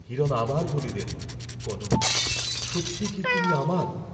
হিরণ আবার বলিলেন, কনক সত্যই কি তুমি আমার?